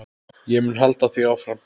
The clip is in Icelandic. Ég mun halda því áfram.